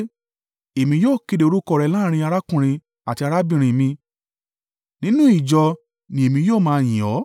Èmi yóò kéde orúkọ rẹ láàrín arákùnrin àti arábìnrin mi; nínú ìjọ ni èmi yóò máa yìn ọ́.